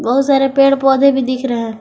बहुत सारे पेड़ पौधे भी दिख रहे हैं।